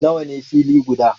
Nawa ne fili guda?